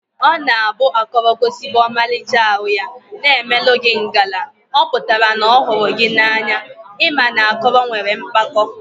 Ọ na abụ akọrọ gosibegi ọmalịcha arụ ya, na emelụ gị ngala, ọpụtara na ọhụrụ gị na anya, ị ma na akọrọ nwere mkpako